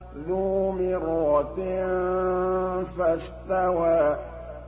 ذُو مِرَّةٍ فَاسْتَوَىٰ